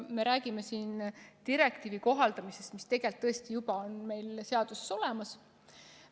–, et me räägime siin sellise direktiivi kohaldamisest, mis tegelikult on meil seadusesse juba üle võetud.